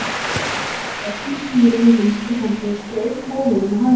Hann hélt um stýrið með vinstri hendi og strauk móðuna með hægri.